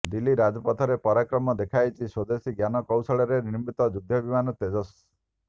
ଦିଲ୍ଲୀ ରାଜପଥରେ ପରାକ୍ରମ ଦେଖାଇଛି ସ୍ୱଦେଶୀ ଜ୍ଞାନ କୌଶଳରେ ନିର୍ମିତ ଯୁଦ୍ଧ ବିମାନ ତେଜସ୍